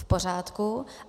V pořádku.